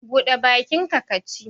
Buɗe bakinka ka ci!